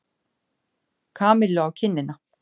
Kamillu á kinnina.